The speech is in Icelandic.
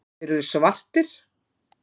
Þeir eru svartir.